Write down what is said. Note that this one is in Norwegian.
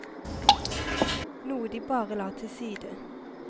Noe de bare la til side.